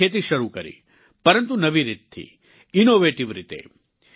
તેમણે ખેતી શરૂ કરી પરંતુ નવી રીત થી ઈનોવેટિવ રીતે